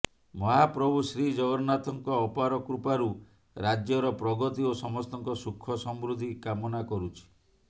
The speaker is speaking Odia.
ମହାପ୍ରଭୁ ଶ୍ରୀ ଜଗନ୍ନାଥଙ୍କ ଅପାର କୃପାରୁ ରାଜ୍ୟର ପ୍ରଗତି ଓ ସମସ୍ତଙ୍କ ସୁଖ ସମୃଦ୍ଧି କାମନା କରୁଛି